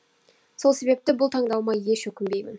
сол себепті бұл таңдауыма еш өкінбеймін